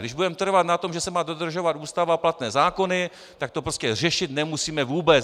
Když budeme trvat na tom, že se má dodržovat Ústava a platné zákony, tak to prostě řešit nemusíme vůbec.